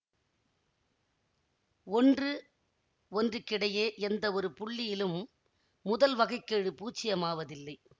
ஒன்று ஒன்றுக்கிடையே எந்தவொரு புள்ளியிலும் முதல் வகை கெழு பூச்சியமாவதில்லை